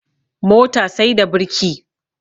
Mota sai da birki